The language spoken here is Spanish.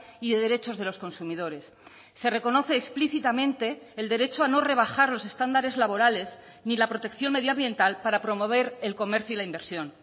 y de derechos de los consumidores se reconoce explícitamente el derecho a no rebajar los estándares laborales ni la protección medioambiental para promover el comercio y la inversión